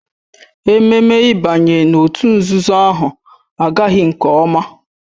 Ememme ịbanye n'òtù nzuzo ahụ agaghị nke ọma